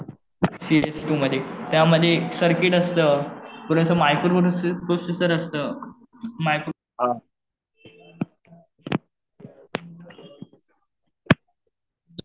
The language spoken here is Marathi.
सीपीयू मध्ये, त्यामध्ये सर्किट असतं. थोडंसं मायक्रो प्रोसेसर असतं.